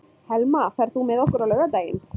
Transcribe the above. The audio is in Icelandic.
Helma, ferð þú með okkur á laugardaginn?